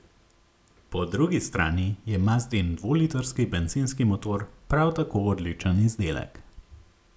Po drugi strani je mazdin dvolitrski bencinski motor prav tako odličen izdelek.